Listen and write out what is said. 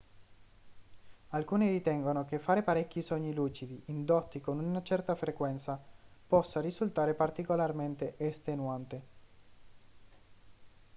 alcuni ritengono che fare parecchi sogni lucidi indotti con una certa frequenza possa risultare particolarmente estenuante